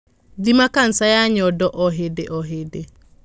Thima kanja ya nyondo o hĩndĩo hĩndĩ.